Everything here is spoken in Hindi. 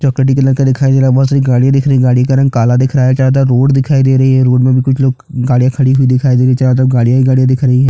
चॉकलेटी कलर का दिखाई दे रहा है बहोत सारी गाड़ियां दिख रही है गाड़ियों का रंग काला दिख रहा है चारों तरफ रोड दिखाई दे रही है रोड में भी कुछ लोग गाड़ियां खडी हुई दिखाई दे रही है चारो तरफ गाड़ियां ही गाड़ियां दिख रही है।